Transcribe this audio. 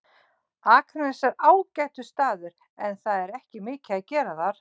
Akranes er ágætur staður en það er ekki mikið að gera þar.